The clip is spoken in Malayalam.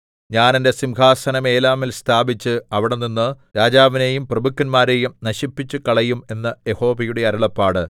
ഞാൻ എന്റെ സിംഹാസനം ഏലാമിൽ സ്ഥാപിച്ച് അവിടെനിന്ന് രാജാവിനെയും പ്രഭുക്കന്മാരെയും നശിപ്പിച്ചുകളയും എന്ന് യഹോവയുടെ അരുളപ്പാട്